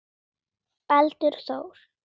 Baldur Þór.